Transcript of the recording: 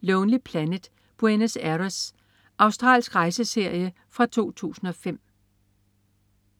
Lonely Planet: Buenos Aires. Australsk rejseserie fra 2005